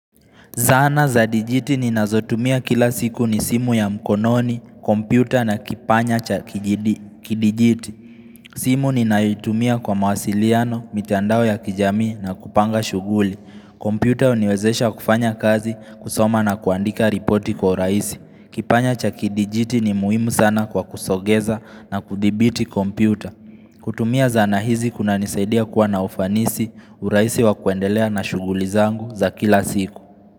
Zana za dijiti ninazotumia kila siku ni simu ya mkononi, kompyuta na kipanya cha kidijiti. Simu ninayoitumia kwa mawasiliano, mitandao ya kijami na kupanga shuhuli. Kompyuta uniwezesha kufanya kazi kusoma na kuandika ripoti kwa uraisi. Kipanya cha kidijiti ni muhimu sana kwa kusogeza na kudhibiti kompyuta. Kutumia zana hizi kuna nisaidia kuwa na ufanisi uraisi wa kuendelea na shuguli zangu za kila siku.